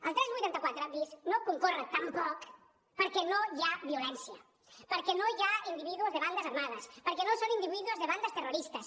el tres cents i vuitanta quatre bis no concorre tampoc perquè no hi ha violència perquè no hi ha individus de bandas armadas perquè no són individuos de bandas terroristas